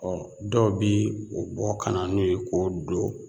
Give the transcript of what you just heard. dɔw bɛ o bɔ ka na n'o ye k'o don